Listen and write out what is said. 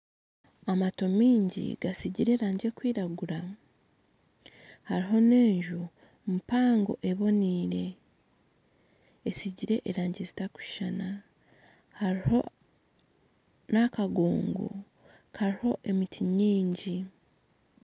Amaato mingi gasigire erangi erikwiragura hariho n'enju mpango oboniire esiigire erangi ezitarikushushana hariho n'akagongo kariho emiti mingi